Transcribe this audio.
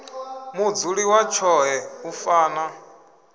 mudzuli wa tshoṱhe u fana